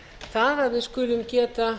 það að við skulum geta